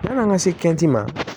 Yan'an ka se kɛnti ma